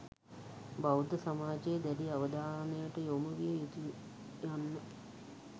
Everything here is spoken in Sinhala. බෞද්ධ සමාජයේ දැඩි අවධානයට යොමු විය යුතු යන්න